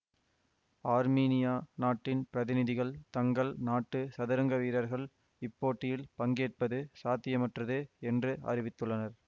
Armenia நாட்டின் பிரதிநிதிகள் தங்கள் நாட்டு சதுரங்க வீரர்கள் இப்போட்டியில் பங்கேற்பது சாத்தியமற்றது என்று அறிவித்துள்ளனர்